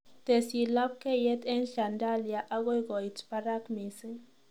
Tesyi labkeiyet eng shandalia agoi koit parak mising